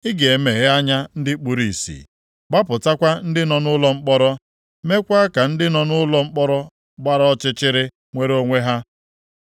Ị ga-emeghe anya ndị kpuru ìsì, gbapụtakwa ndị nọ nʼụlọ mkpọrọ, meekwa ka ndị nọ nʼụlọ mkpọrọ gbara ọchịchịrị nwere onwe ha.